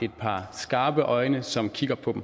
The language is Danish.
et par skarpe øjne som kigger på dem